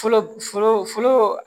Fɔlɔ fɔlɔ fɔlɔ